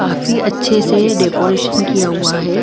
काफी अच्छे से डेकोरेशन किया हुआ है।